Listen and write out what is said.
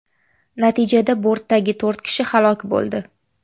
Natijada bortdagi to‘rt kishi halok bo‘ldi.